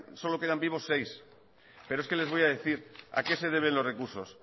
solo quedan vivos seis pero es que les voy a decir a qué se deben los recursos